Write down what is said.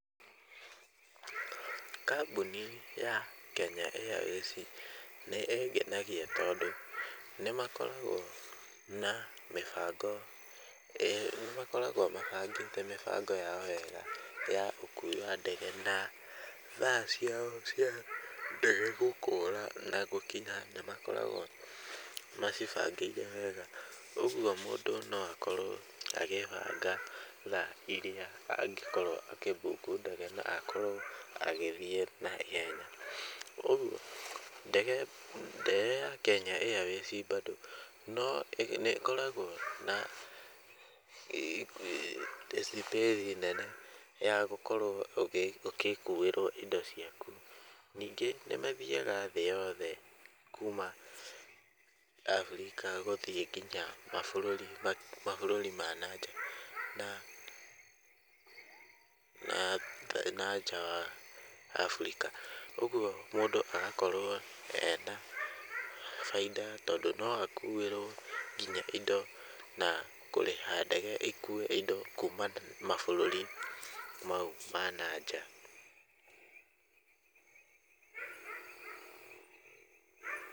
Kambũni ya Kenya Airways nĩ ingenagia tondũ nĩ makoragwo na mĩbango nĩ, nĩmakoragwo mabangĩte mĩbango yao wega ya ũkuui wa ndege, na thaa ciao cia ndege gũkũũra na gũkinya , nĩ makoragwo macibangĩire wega, ũgwo mũndũ no akorwo agĩbanga thaa iria angĩkorwo akĩbuku ndege, na akorwo agĩthiĩ na ihenya, ũgwo ndege ya Kenya Airways bado, no nĩ ĩkoragwo na space nene ya gũkorwo ũgĩkuirwo indo ciaku, ningĩ nĩ mathiaga thĩ yothe, kuma Afrika gũthiĩ nginya mabũrũri ma na nja, na nja wa Afrika, ũgwo mũndũ agakorwo ena baida tondũ no akuirwo nginya indo, na kũrĩha ndege ĩkue indo kuuma mabũrũri mau ma na nja.